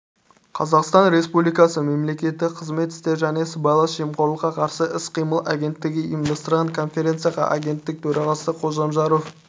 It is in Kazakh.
қазақстан республикасы мемлекеттік қызмет істері және сыбайлас жемқорлыққа қарсы іс-қимыл агенттігі ұйымдастырған конференцияға агенттік төрағасы қожамжаров